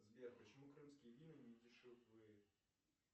сбер почему крымские вина не дешевле